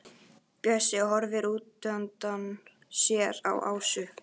Bjössi horfir útundan sér á Ásu.